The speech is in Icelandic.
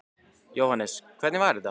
Jóhannes: Hvernig var þetta?